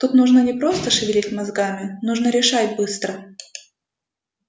тут нужно не просто шевелить мозгами нужно решать быстро